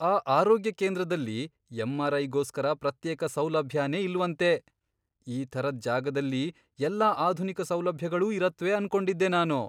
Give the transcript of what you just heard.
ಆ ಆರೋಗ್ಯ ಕೇಂದ್ರದಲ್ಲಿ ಎಂ.ಆರ್.ಐ.ಗೋಸ್ಕರ ಪ್ರತ್ಯೇಕ ಸೌಲಭ್ಯನೇ ಇಲ್ವಂತೆ! ಈ ಥರದ್ ಜಾಗದಲ್ಲಿ ಎಲ್ಲಾ ಆಧುನಿಕ ಸೌಲಭ್ಯಗಳೂ ಇರತ್ವೆ ಅನ್ಕೊಂಡಿದ್ದೆ ನಾನು.